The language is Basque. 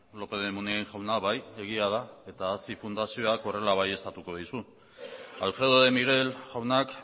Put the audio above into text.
lópez de munain jauna bai egia da eta hazi fundazioak horrela baieztatuko dizu alfredo de miguel jaunak